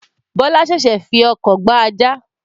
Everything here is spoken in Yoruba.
Bọlá sẹ̀sẹ̀ fii ọkọ̀ gba ajá